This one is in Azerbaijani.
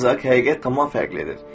Ancaq həqiqət tamamilə fərqlidir.